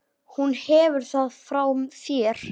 Hún hefur það frá þér.